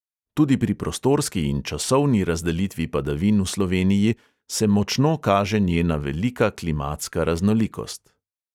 Tudi pri prostorski in časovni razdelitvi padavin v sloveniji se močno kaže njena velika klimatska raznolikost.